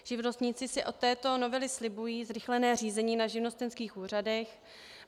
Živnostníci si od této novely slibují zrychlené řízení na živnostenských úřadech.